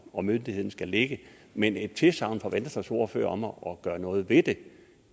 og myndigheden skal ligge men et tilsagn fra venstres ordfører om at gøre noget ved det